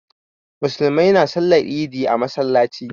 Musulmai na sallar idi a masallaci